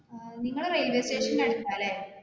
അഹ് നിങ്ങൾ railway station അടുത്താ ലെ